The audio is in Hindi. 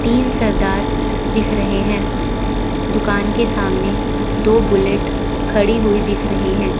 तीन सरदार दिख रहे हैं। दुकान के सामने दो बुलेट खड़ी हुई दिख रही हैं।